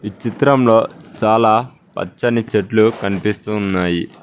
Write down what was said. ఈ చిత్రంలో చాలా పచ్చని చెట్లు కనిపిస్తు ఉన్నాయి.